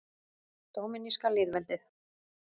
Dóminíska lýðveldið